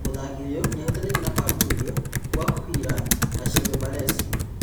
Mũthaki ũyũ nĩahutanĩtie na kũhamũrithio kwa Kuhila na Shebe Balesi